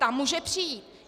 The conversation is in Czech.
Ta může přijít.